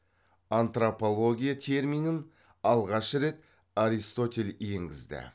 антропология терминін алғаш рет аристотель енгізді